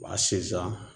Wa sinzan